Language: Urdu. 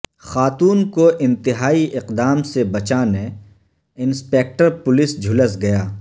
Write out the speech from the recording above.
خاتون کو انتہائی اقدام سے بچانے انسپکٹر پولیس جھلس گیا